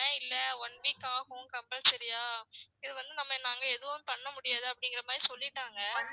இல்ல one week ஆகும் compulsory ஆ இத வந்து நம்ம நாங்க எதுவும் பண்ண முடியாது அப்டிங்கற மாதிரி சொல்லிடாங்க